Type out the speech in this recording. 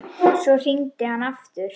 Svo hringdi hann aftur.